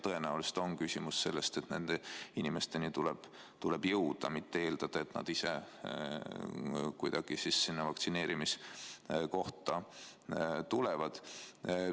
Tõenäoliselt on küsimus selles, et nende inimesteni tuleb jõuda, mitte eeldada, et nad ise kuidagi vaktsineerimiskohta tulevad.